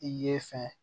I ye fɛn